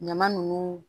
Ɲama nunnu